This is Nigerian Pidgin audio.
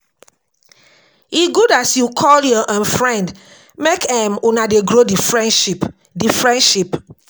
E good as you call your um friend make um una dey grow di friendship di friendship.